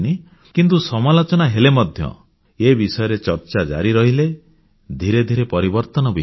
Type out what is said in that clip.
କିନ୍ତୁ ସମାଲୋଚନା ହେଲେ ମଧ୍ୟ ଏ ବିଷୟରେ ଚର୍ଚ୍ଚା ଜାରି ରଖିଲେ ଧିରେ ଧିରେ ପରିବର୍ତ୍ତନ ବି ହେବ